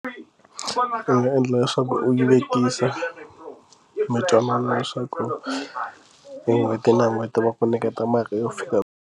Ndzi nga endla leswaku u yi vekisa mi twanana leswaku hi n'hweti na n'hweti va ku nyiketa mali yo fika ku.